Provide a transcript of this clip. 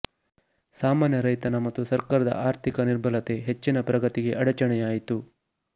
ಸಾಮಾನ್ಯ ರೈತನ ಮತ್ತು ಸರ್ಕಾರದ ಆರ್ಥಿಕ ನಿರ್ಬಲತೆ ಹೆಚ್ಚಿನ ಪ್ರಗತಿಗೆ ಅಡಚಣೆಯಾಯಿತು